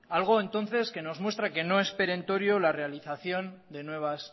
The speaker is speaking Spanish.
algo entonces que nos muestra que no es perentorio la realización de nuevas